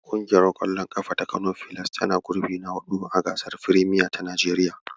Ƙungiyar ƙwallon ƙafa ta Kano Filas tana gurbi na haɗu a gasar firemiyar ta Najeriya.